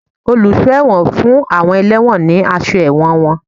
Oluso ẹwọ́n fun awọn ẹlewọ́n ní aṣọ ẹwọ́n wón.